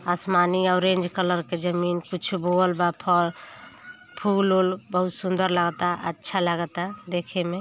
आसमानी orange colour के जमीन कुछु बोअल् बा फल फूल वूल बहुत सुन्दर लागा ता अच्छा लागा ता देखै में।